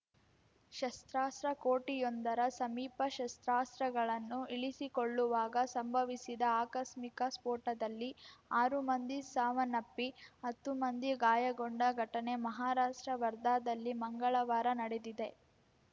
ಶಸ್ತ್ರಾಸ್ತ್ರ ಕೋಠಿಯೊಂದರ ಸಮೀಪ ಶಸ್ತ್ರಾಸ್ತ್ರಗಳನ್ನು ಇಳಿಸಿಕೊಳ್ಳುವಾಗ ಸಂಭವಿಸಿದ ಆಕಸ್ಮಿಕ ಸ್ಫೋಟದಲ್ಲಿ ಆರು ಮಂದಿ ಸಾವನ್ನಪ್ಪಿ ಹತ್ತು ಮಂದಿ ಗಾಯಗೊಂಡ ಘಟನೆ ಮಹಾರಾಷ್ಟ್ರ ವರ್ಧಾದಲ್ಲಿ ಮಂಗಳವಾರ ನಡೆದಿದೆ